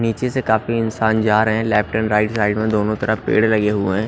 नीचे से काफी इंसान जा रहे हैं लेफ्ट एंड राइट साइड में दोनों तरफ पेड़ लगे हुए--